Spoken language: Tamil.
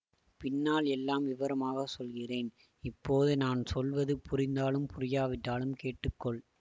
பின்னால் எல்லாம் விவரமாக சொல்கிறேன் இப்போது நான் சொல்வது புரிந்தாலும் புரியாவிட்டாலும் கேட்டு கொள்